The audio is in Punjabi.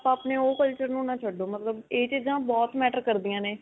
ਆਪਾਂ ਆਪਣੇ ਉਹ culture ਨੂੰ ਨਾ ਛੱਡੋ, ਮਤਲਬ ਇਹ ਚੀਜਾਂ ਬਹੁਤ matter ਕਰਦਿਆਂ ਨੇ